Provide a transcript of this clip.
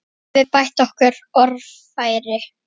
Getum við bætt okkar orðfæri?